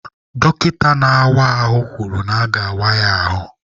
Dọkịta na-awa ahụ kwuru na aga-awa ya ahụ.